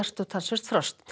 og talsvert frost